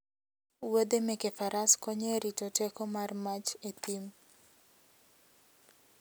Wuodhe meke faras konyo e rito teko mar mach e thim.